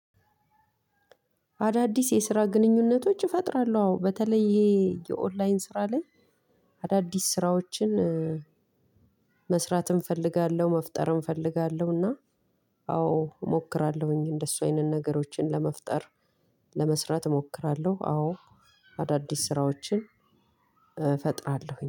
አዳዲስ የስራ ግንኙነቶች እፈጥራለው አዎ፣ በተለይ ይሄ የኦንላይን ስራ ላይ አዳዲስ ስራዎችን መሥራትም እፈልጋለው፣ መፍጠርም እፈልጋለው እና አዎ እሞክራለሁኝ እንደሱ አይነት ነገሮችን ለመፍጠር፤ ለመስራት እሞክራለሁ አዎ፣ አዳዲስ ስራዎችን እፈጥራለሁኝ።